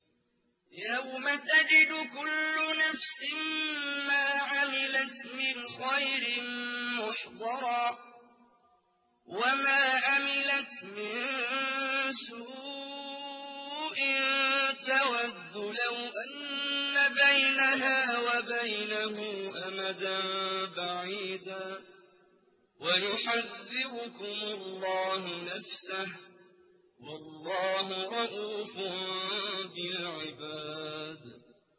يَوْمَ تَجِدُ كُلُّ نَفْسٍ مَّا عَمِلَتْ مِنْ خَيْرٍ مُّحْضَرًا وَمَا عَمِلَتْ مِن سُوءٍ تَوَدُّ لَوْ أَنَّ بَيْنَهَا وَبَيْنَهُ أَمَدًا بَعِيدًا ۗ وَيُحَذِّرُكُمُ اللَّهُ نَفْسَهُ ۗ وَاللَّهُ رَءُوفٌ بِالْعِبَادِ